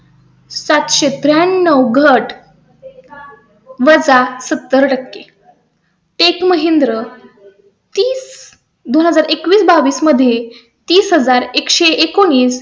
सात सो त्र्याण्णव घट . सत्तर टक्के. tech mahindra. तीस एकवीस बावीस मध्येतीस हजार एक सो एकोणीस